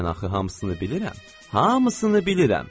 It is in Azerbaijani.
Mən axı hamısını bilirəm, hamısını bilirəm.